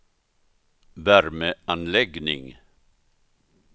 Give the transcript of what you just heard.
värmeanläggning